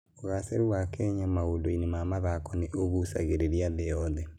Ũgaacĩru wa Kenya maũndũ-inĩ ma mathako nĩ ũgucagĩrĩria thĩ yothe.